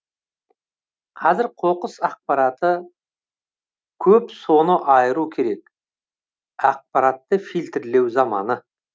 қазір қоқыс ақпараты көп соны айыру керек ақпаратты фильтрлеу заманы